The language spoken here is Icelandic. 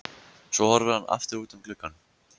Svo horfir hann aftur út um gluggann.